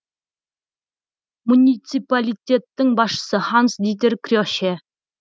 муниципалитеттің басшысы ханс дитер креще